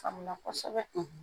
Kamina kosɛbɛ